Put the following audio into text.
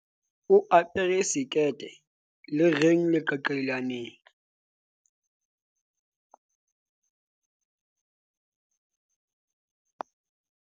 o apare sekete le reng leqaqailaneng